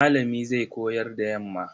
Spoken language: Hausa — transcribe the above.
Malami zai koyar da yamma.